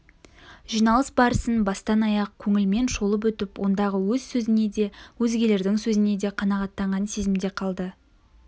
жиналыс барысын бастан-аяқ көңілмен шолып өтіп ондағы өз сөзіне де өзгелердің сөзіне де қанағаттанған сезімде қалды